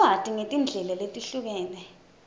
lwati ngetindlela letehlukene